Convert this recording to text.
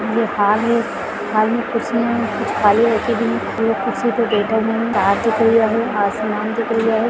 तार दिख रही हमे आसमान दिख रही है।